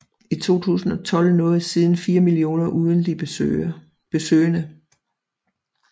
I 2012 nåede siden 4 millioner ugentlige besøgende